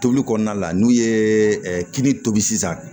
Tobili kɔnɔna la n'u ye kini tobi sisan